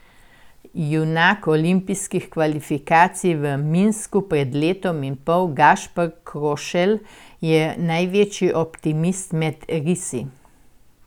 Junak olimpijskih kvalifikacij v Minsku pred letom in pol Gašper Krošelj je največji optimist med risi.